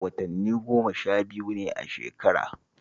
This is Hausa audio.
Watanni goma-sha-biyu ne a shekara